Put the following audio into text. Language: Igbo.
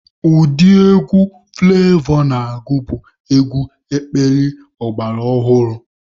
Ụdị egwu Fụlevọ na-agụ bụ egwu ekpili ọgbara ọhụrụ.